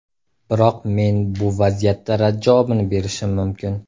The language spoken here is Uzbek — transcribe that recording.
Biroq men bu vaziyatda rad javobini berishim mumkin.